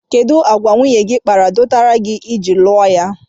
Kedụ àgwà nwunye gị kpara dọtara gị iji lụọ ya?